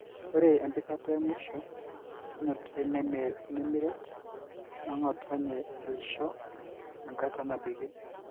Ore empikata mwisho enutai nemiret nongotonye aisho enkata nabikie.